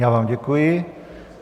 Já vám děkuji.